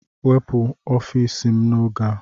Wepụ n'ọfịs m oge a!